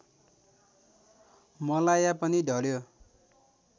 मलाया पनि ढल्यो